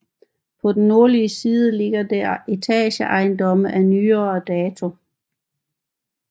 På den nordlige side ligger der etageejendomme af nyere dato